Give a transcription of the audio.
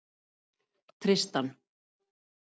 Tristan